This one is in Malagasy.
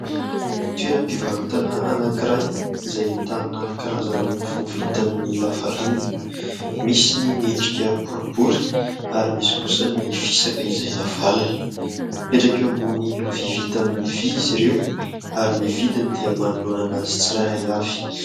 Toeram-pivarotana anankiray izay ahitana karazana mofo vita amin'ny lafarinina. Misy ny miendrika boribory ary misy kosa ny fisaka izay navalona. Mipetraka eo ambony lovia vita amin'ny vỳ izy ireo ary ny vidiny dia manoloana azy tsiraray avy.